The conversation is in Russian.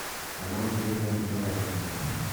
канал первый образовательный